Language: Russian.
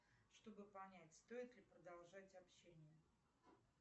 чтобы понять стоит ли продолжать общение